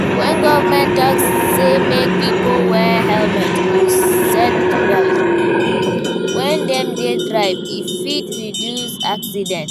When government talk sey make pipo wear helmet or seatbelt when dem dey drive, e fit reduce accident